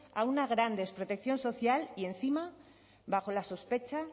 a una gran desprotección social y encima bajo la sospecha